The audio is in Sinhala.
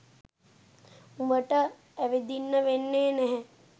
උඹට ඇවිදින්න වෙන්නේ නැහැ.